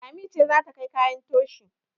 Lami ce za ta kai kayan toshi